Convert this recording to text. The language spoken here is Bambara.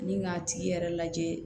Ni k'a tigi yɛrɛ lajɛ